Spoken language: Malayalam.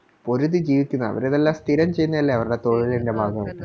പൊരുതി ജീവിക്കുന്നയ അവരിതെല്ലാം ചെയ്യുന്നെയല്ലെ അവരുടെ തൊഴിലിൻറെ ഭഗവായിട്ട്